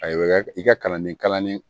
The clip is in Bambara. Ayiwa i ka kalanden kalannen